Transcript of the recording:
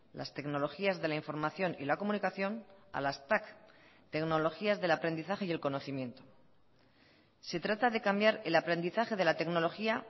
las tecnologías de la información y la comunicación a las tac tecnologías del aprendizaje y el conocimiento se trata de cambiar el aprendizaje de la tecnología